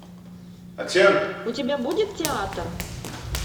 у тебя будет театр